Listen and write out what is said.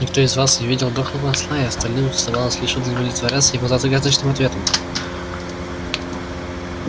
никто из вас не видел дохлого осла и остальным оставалось лишь удовлетворяться его загадочным ответом